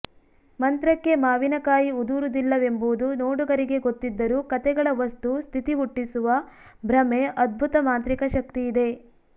ಮಂತ್ರಕ್ಕೆ ಮಾವಿನಕಾಯಿ ಉದುರುವುದಿಲ್ಲವೆಂಬುದು ನೋಡುಗರಿಗೆ ಗೊತ್ತಿದ್ದರೂ ಕಥೆಗಳ ವಸ್ತು ಸ್ಥಿತಿ ಹುಟ್ಟಿಸುವ ಭ್ರಮೆ ಅದ್ಭುತ ಮಾಂತ್ರಿಕ ಶಕ್ತಿಯಿದೇ